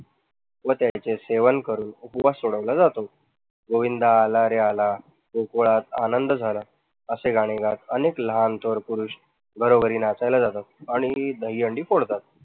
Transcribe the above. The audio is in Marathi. व त्याचे सेवन करून उपवास सोडवला जातो. गोविंदा आला रे आला गोकुळात आनंद झाला असे गाणे गात अनेक लहान थोर पुरुष घरोघरी नाचायला जातात आणि दहीहंडी फोडतात.